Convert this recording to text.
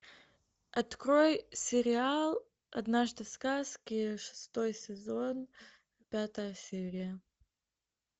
открой сериал однажды в сказке шестой сезон пятая серия